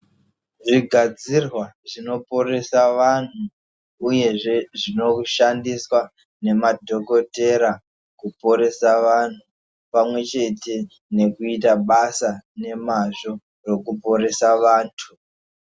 Zvigadzirwa zvinoporesa vanhu uyezve zvinoshandiswa nemadhokotera kuporesa vanhu pamwechete nekuita basa nemazvo rokuporesa vantu.